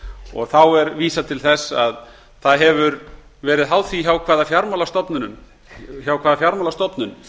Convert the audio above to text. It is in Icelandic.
og er þá vísað til þess að það hefur verið háð því hjá hvaða fjármálastofnun